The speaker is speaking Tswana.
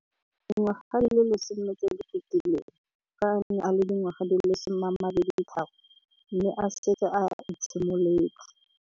Dingwaga di le 10 tse di fetileng, fa a ne a le dingwaga di le 23 mme a setse a itshimoletse.